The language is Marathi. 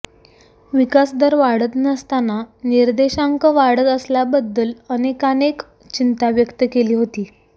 विकासदर वाढत नसताना निर्देशांक वाढत असल्याबद्दल अनेकानेक चिंता व्यक्त केली होती